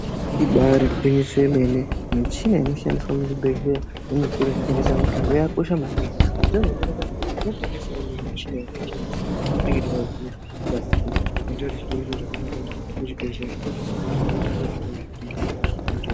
Ibari gwinyiso remene michina inoshandiswa muzvibhedhlera nemuzvitoro zvinotengeswa mitombo yakakosha maningi zvitoro zvinotengesa mitombo zvinotengesawo michina iyi zvinobatsira zvinova zviri zviro zvakanaka kuti muzvibhedhlera ngamuitewo zvitoro zvinotengeswa mitombo.